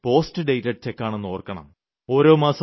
അതും post dated ചെക്കാണെന്ന് ഓർക്കണം